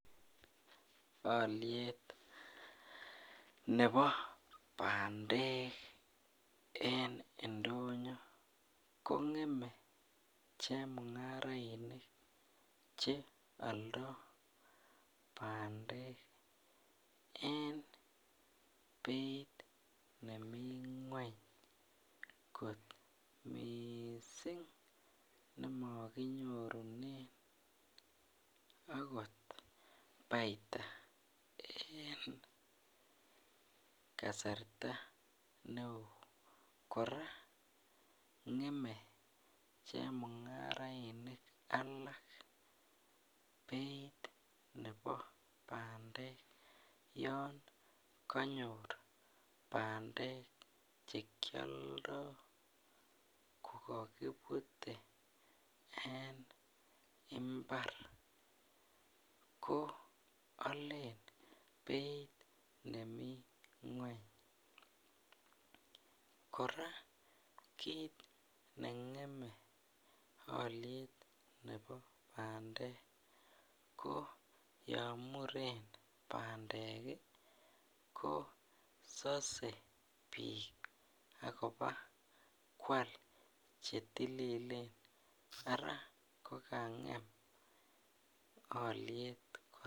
Aliet Nebo bandek en indonyo kongeme chemungarainik cheyaldoi bandek en Beit nemii ngweny kot mising nemakinyorunen akot baita en kasarta neon akongem chemungarainik alak Beit Nebo bandek yanganyor bandek chekyoldoe kokakibute en imbar ko Alen Beit nemii ngweny koraa kit nengeme aliet Nebo bandek ko yamuren bandek kosase bik akoba kwal chetililen Ara kokangem aliet